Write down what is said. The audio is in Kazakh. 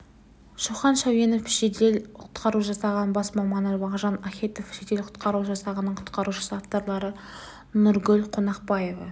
шоқан шәуенов жедел құтқару жасағының бас маманы мағжан ахетов жедел құтқару жасағының құтқарушысы авторлары нұргүл қонақбаева